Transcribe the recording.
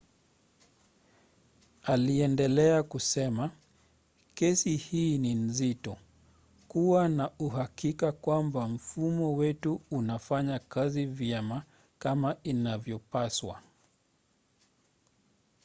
aliendelea kusema kesi hii ni nzito. kuwa na uhakika kwamba mfumo wetu unafanya kazi vyema kama inavyopaswa.